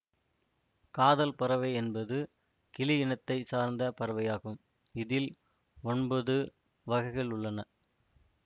காதல் பறவை என்பது கிளி இனத்தை சார்ந்த பறவையாகும் இதில் ஒன்பது வகைகளுள்ளன